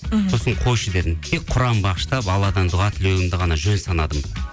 мхм сосын қойшы дедім тек құран бағыштап алладан дұға тілеуімді ғана жөн санадым